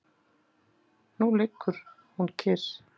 Núna liggur hún kyrr.